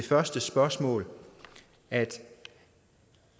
første spørgsmål at